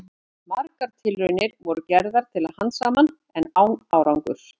Margar tilraunir voru gerðar til að handsama hann, en án árangurs.